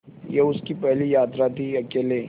यह उसकी पहली यात्रा थीअकेले